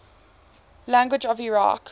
languages of iraq